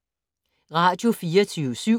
Radio24syv